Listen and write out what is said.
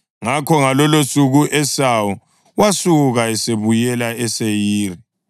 Ngakho ngalolosuku u-Esawu wasuka esebuyela eSeyiri.